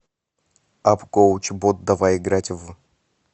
апп коуч бот давай играть в